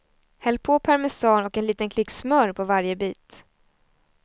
Häll på parmesan och en liten klick smör på varje bit.